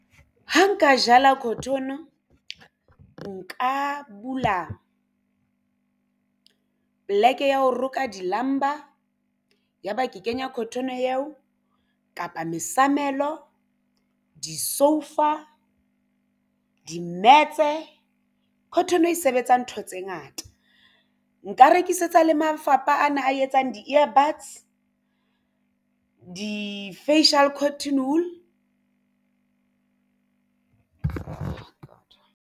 Ho nka jala cotton nka bula poleke ya ho roka di lamba ya ba ke kenya cotton eo kapa mesamelo disoufa di-mats. Cotton e sebetsa ntho tse ngata nka rekisetsa le mafapha ana a etsang di-earbuds di-facial cotton wool.